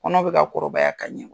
Kɔnɔ bɛ ka kɔrɔbaya ka ɲɛ.